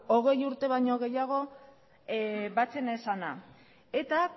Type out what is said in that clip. hogei urte baino gehiago batzen ez zena eta